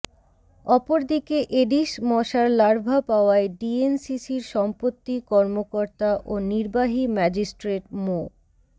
অপরদিকে এডিস মশার লার্ভা পাওয়ায় ডিএনসিসির সম্পত্তি কর্মকর্তা ও নির্বাহী ম্যাজিস্ট্রেট মো